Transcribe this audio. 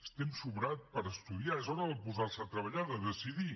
és temps sobrat per estudiar és hora de posar se a treballar de decidir